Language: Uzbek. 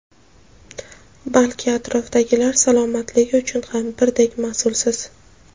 balki atrofdagilar salomatligi uchun ham birdek mas’ulsiz.